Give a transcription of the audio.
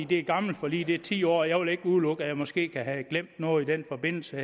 det er et gammelt forlig det er ti år gammelt og jeg vil ikke udelukke at jeg måske kan have glemt noget i den forbindelse